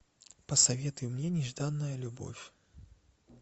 посоветуй мне нежданная любовь